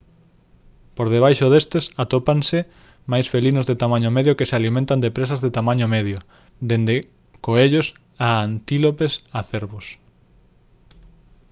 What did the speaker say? por debaixo destes atópanse máis felinos de tamaño medio que se alimentan de presas de tamaño medio desde coellos a antílopes a cervos